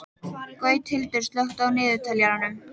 Gauthildur, slökktu á niðurteljaranum.